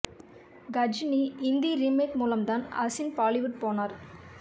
Ghajini Hindi remake மூலம் தான் அசின் பாலிவுட் போனார்